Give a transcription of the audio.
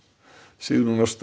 Sigrún Ásta